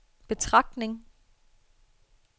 betragtning